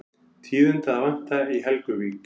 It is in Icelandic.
Tíðinda að vænta í Helguvík